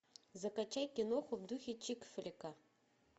закачай киноху в духе чикфлика